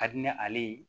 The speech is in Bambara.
Ka di ne ale ye